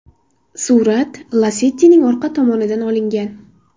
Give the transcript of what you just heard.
Surat Lacetti’ning orqa tomonidan olingan.